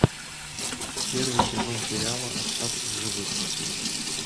первый сезон сериала остаться в живых